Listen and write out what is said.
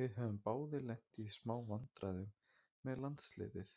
Við höfum báðir lent í smá vandræðum með landsliðið,